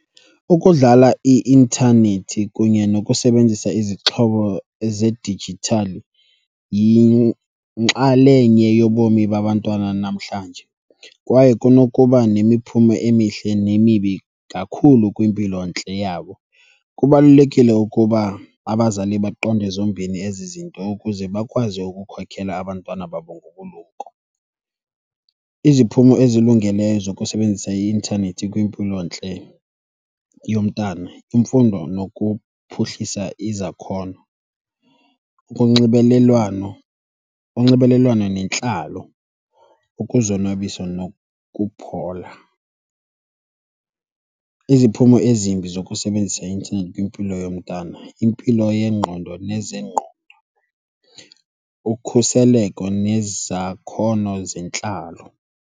Ukudlala i-intanethi kunye nokusebenzisa izixhobo zedijithali yinxalenye yobomi babantwana namhlanje kwaye kunokuba nemiphumo emihle nemibi kakhulu kwimpilontle yabo. Kubalulekile ukuba abazali baqonde zombini ezi zinto ukuze bakwazi ukukhokhela abantwana babo ngobulumko. Iziphumo ezilungileyo zokusebenzisa i-intanethi kwimpilontle yomntana, imfundo nokuphuhlisa izakhono, ukunxibelelwano, unxibelelwano nentlalo, ukuzonwabisa nokuphola. Iziphumo ezimbi zokusebenzisa i-intanethi kwimpilo yomntana, impilo yengqondo nezengqondo, ukhuseleko nezakhono zentlalo.